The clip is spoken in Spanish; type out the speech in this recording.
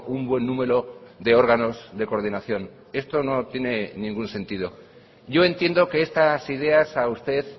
un buen número de órganos de coordinación esto no tiene ningún sentido yo entiendo que estas ideas a usted